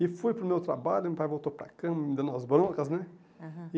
E fui para o meu trabalho, meu pai voltou para a cama, me dando umas broncas, né? Aham